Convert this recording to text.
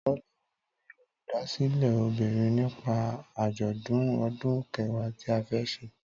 Tọ́lá lọ rí Olùdásílẹ̀ obìnrin nípa àjọ̀dún ọdún Kẹ̀wá tí a fẹ́ ṣe